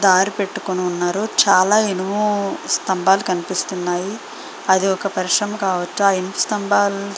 car పెటుకొని ఉన్నారు చాల ఇనుము స్తంబాలు కనిపిస్తూ నయి.అది ఒక పరిశ్రమ కావొచ్చు ఆ ఇనుము --